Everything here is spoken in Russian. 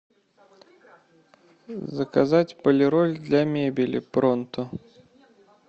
заказать полироль для мебели пронто